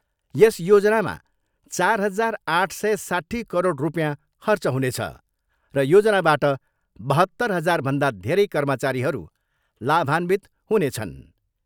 यस योजनामा चार हजार आठ सय साट्ठी करोड रुपियाँ खर्च हुनेछ र योजनाबाट बहत्तर हजारभन्दा धेरै कर्मचारीहरू लाभान्वित हुनेछन्।